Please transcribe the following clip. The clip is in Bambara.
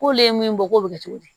K'olu ye min bɔ k'o bɛ kɛ cogo di